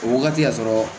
O wagati y'a sɔrɔ